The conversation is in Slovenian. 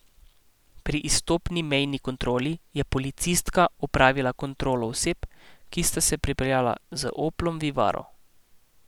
Pri izstopni mejni kontroli je policistka opravila kontrolo oseb, ki sta se pripeljala z oplom vivaro.